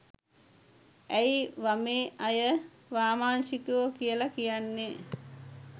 ඇයි වමේ අය වාමාංශිකයො කියල කියන්නේ.